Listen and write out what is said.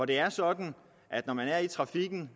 det er sådan at når man er i trafikken